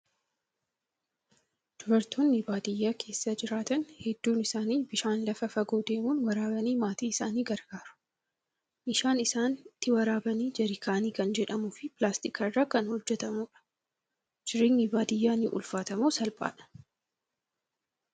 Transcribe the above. Dubaroonni baadiyyaa keessa jiraatan hedduun isaanii bishaan lafa fagoo deemuun waraabanii maatii isaanii gargaaru. Meeshaan isaan ittiin waraabanii jaarkaanii kan jedhamuu fi pilaastika irraa kan hojjatamudha. Jireenyi baadiyyaa ni ulfaata moo salphaadhaa?